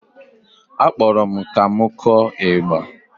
Akpọrọ m ka m kụọ ịgba